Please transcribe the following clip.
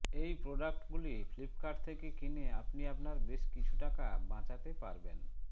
এই প্রোডাক্ট গুলি ফ্লিপকার্ট থেকে কিনে আপনি আপনার বেশ কিছু টাকা বাচাতে পারবেন